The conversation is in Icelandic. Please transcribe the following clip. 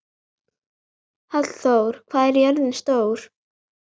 Hallþór, hvað er jörðin stór?